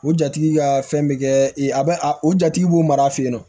O jatigi ka fɛn bɛ kɛ i a bɛ a o jatigi b'o mara fɛ yen nɔ